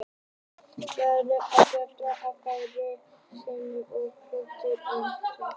Líklega var betra að færa konungi skilaboðin og silfur heldur en skilaboðin einsömul.